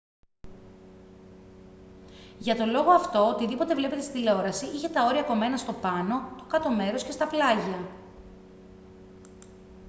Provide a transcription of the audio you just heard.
για τον λόγο αυτό οτιδήποτε βλέπετε στην τηλεόραση είχε τα όρια κομμένα στο πάνω το κάτω μέρος και στα πλάγια